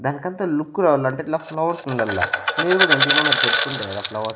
దానికంత లుక్కు రావాలంటే ఇట్లా ఫ్లవర్స్ ఉండాలా తెచ్చుకుంటే కదా ఫ్లవర్స్ .